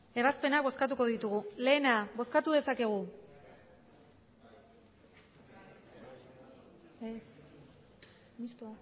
ebazpenak bozkatuko ditugu batgoa bozkatu dezakegu emandako